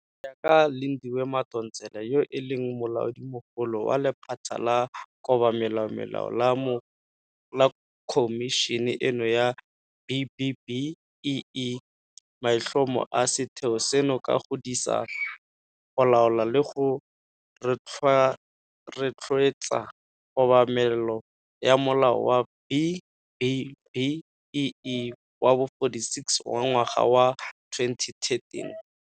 Go ya ka Lindiwe Madonsela yo e leng Molaodimogolo wa lephata la Kobamelomelao la Khomišene eno ya B-BBEE, maitlhomo a setheo seno ke go disa, go laola le go rotloetsa kobamelo ya Molao wa B-BBEE wa bo 46 wa ngwaga wa 2013.